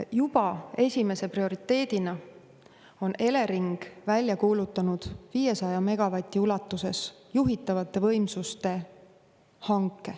Juba esimese prioriteedina on Elering välja kuulutanud 500 megavati ulatuses juhitavate võimsuste hanke.